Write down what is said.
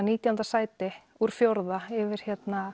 nítján sæti úr fjórða yfir